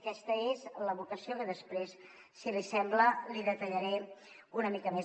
aquesta és la vocació que després si li sembla li detallaré una mica més